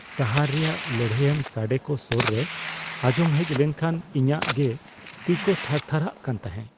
ᱥᱟᱦᱟᱨ ᱨᱮᱭᱟᱜ ᱞᱟᱹᱲᱦᱟᱹᱭᱟᱱ ᱥᱟᱰᱮ ᱠᱚ ᱥᱳᱨ ᱨᱮ ᱟᱸᱡᱚᱢ ᱦᱮᱡ ᱞᱮᱱᱠᱷᱟᱱ ᱤᱧᱟᱹᱜ ᱜᱮ ᱛᱤᱼᱠᱚ ᱛᱷᱟᱨ ᱛᱷᱟᱨᱟᱜ ᱠᱟᱱ ᱛᱟᱦᱮᱸ ᱾